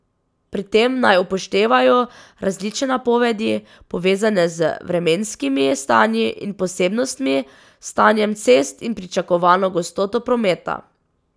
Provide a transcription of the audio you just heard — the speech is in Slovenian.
Pri tem naj upoštevajo različne napovedi, povezane z vremenskimi stanji in posebnostmi, s stanjem cest in pričakovano gostoto prometa.